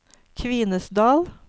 Kvinesdal